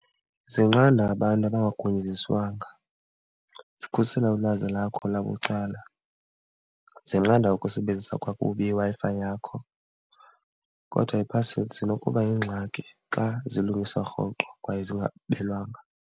Zinqanda abantu abangagunyaziswanga, zikhusela ulwazi lakho labucala, zinqanda ukusebenzisa kakubi iWi-Fi yakho. Kodwa iiphasiwedi zinokuba yingxaki xa zilungiswa rhoqo kwaye zingabelwanga.